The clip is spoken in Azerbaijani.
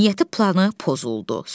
Niyyəti planı pozuldu.